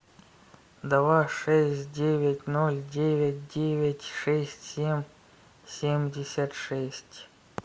два шесть девять ноль девять девять шесть семь семьдесят шесть